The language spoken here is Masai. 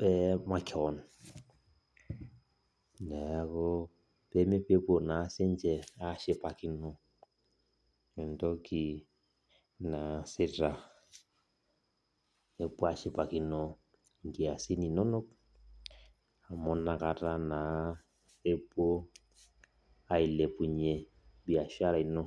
e makeon neaku pepuo na sinche ashipakino entoki naasita nepuo ashipakino nkiasin inonok amu nakata na epuo ailepunye biashara ino.